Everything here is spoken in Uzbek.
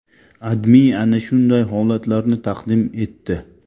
AdMe ana shunday holatlarni taqdim etdi.